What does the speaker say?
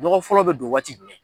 Nɔgɔ fɔlɔ bɛ don waati jumɛn?